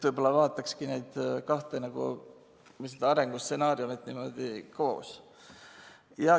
Võib-olla vaataks neid kahte nagu arengustsenaariumi niimoodi koos.